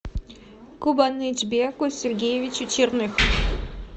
кубанычбеку сергеевичу черных